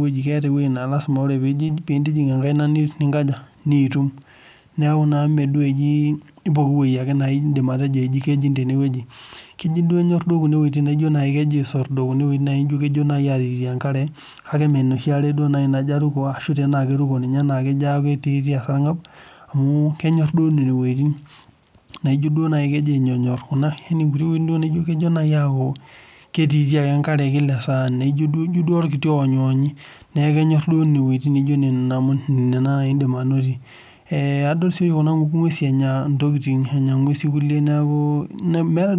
wueji. Keeta ewueji naa tenipik enkaina ino nilo atum. Niaku naa ime pooki wueji etii. Keji duo inyore nejio duo kejo aisordo netii enkare kake mme enoshi are duo naaji naruko kake tenelo neruko netii naa sii esarngab amuu kenyorr nene oleng. Ewueji taaduo neijo oloti oonyionyi kenyorr oelng naa indim anoto. Odol sii oshi kuna nguesin enya inkulie